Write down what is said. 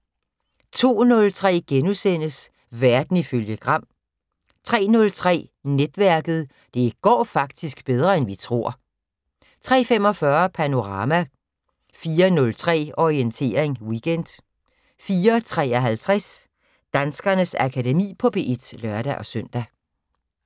02:03: Verden ifølge Gram * 03:03: Netværket: Det går faktisk bedre end vi tror 03:45: Panorama 04:03: Orientering Weekend 04:53: Danskernes Akademi på P1 (lør-søn)